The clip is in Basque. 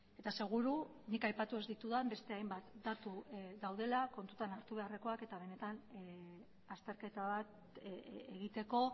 eta seguru nik aipatu ez ditudan beste hainbat datu daudela kontutan hartu beharrekoak eta benetan azterketa bat egiteko